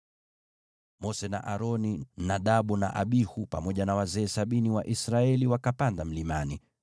Mose na Aroni, Nadabu na Abihu, pamoja na wazee sabini wa Israeli wakapanda mlimani,